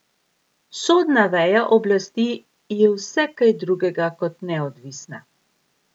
Sodna veja oblasti je vse kaj drugega kot neodvisna.